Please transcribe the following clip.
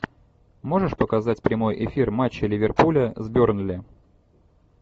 можешь показать прямой эфир матча ливерпуля с бернли